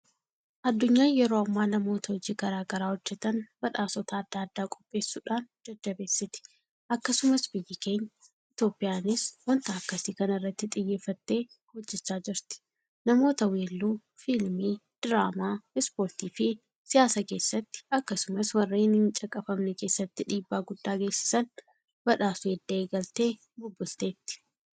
Addunyaan yeroo ammaa namoota hojii garaa garaa hojjetan badhaasota adda addaa qopheessuudhaan jajjabeessiti. Akkasumas biyyi keenya Itoophiyaanis waanta akkasii kana irratti xiyyeeffattee hojjechaa jirti. Namoota Weelluu, Fiilmii, Diraamaa, Ispoortiifi Siyaasa keessatti akkasumas warreen hincaqafamne keessatti dhiibbaa guddaa geessisan badhaasuu edda eegaltee bubbulteetti.